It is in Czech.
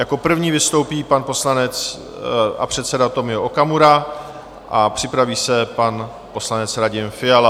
Jako první vystoupí pan poslanec a předseda Tomio Okamura a připraví se pan poslanec Radim Fiala.